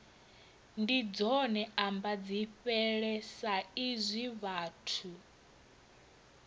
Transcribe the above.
ndi dzone ambadzifhele saizwi vhathu